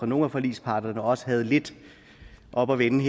nogle af forligsparterne også havde lidt oppe at vende